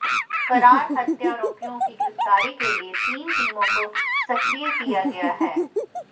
फरार हत्यारोपियो की गिरफतारी के लिए तीन टीमो को सक्रिय किया गया है